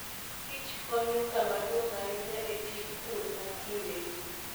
Kich konyo kama duong' ahinya e tij pur ma kindegi.